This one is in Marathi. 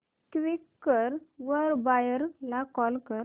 क्वीकर वर बायर ला कॉल कर